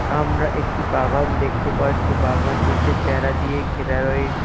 আমরা একটি বাগান দেখতে পারছি বাগানটিতে বেড়া দিয়ে ঘেরা রয়ে--।